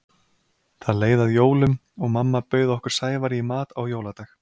Það leið að jólum og mamma bauð okkur Sævari í mat á jóladag.